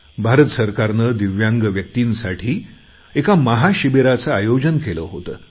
भारत सरकारने दिव्यांग व्यक्तींसाठी एका महाशिबिराचे आयोजन केले होते